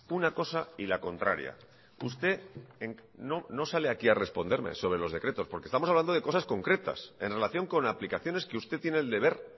una cosa y la contraria usted no sale aquí a responderme sobre los decretos porque estamos hablando de cosas concretas en relación con aplicaciones que usted tiene el deber